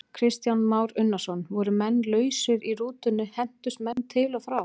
Kristján Már Unnarsson: Voru menn lausir í rútunni, hentust menn til og frá?